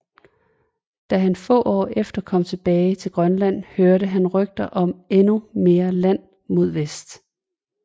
Da han få år efter kom tilbage til Grønland hørte han rygter om endnu mere land mod vest